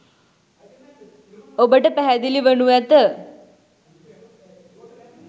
ඔබට පැහැදිලි වනු ඇත.